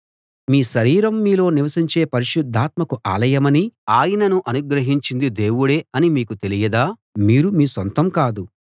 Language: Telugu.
మీ శరీరం మీలో నివసించే పరిశుద్ధాత్మకు ఆలయమనీ ఆయనను అనుగ్రహించింది దేవుడే అనీ మీకు తెలియదా మీరు మీ సొంతం కాదు